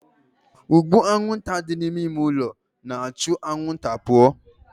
Ụgbụ anwụnta dị n'ime ime ụlọ na-achụ anwụnta pụọ